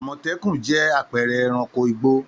Àmọ̀tẹ́kùn jẹ́ àpẹẹrẹ ẹranko igbó.